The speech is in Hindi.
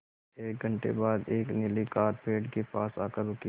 एक घण्टे बाद एक नीली कार पेड़ के पास आकर रुकी